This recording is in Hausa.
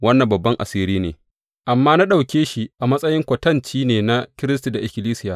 Wannan babban asiri ne, amma na ɗauke shi a matsayin kwatanci ne na Kiristi da ikkilisiya.